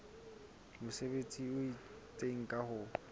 mesebetsi e itseng ka ho